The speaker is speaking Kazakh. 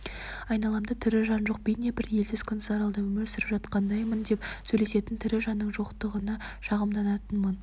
айналамда тірі жан жоқ бейне бір елсіз-күнсіз аралда өмір сүріп жатқандаймын деп сөйлесетін тірі жанның жоқтығына шағымданатынмын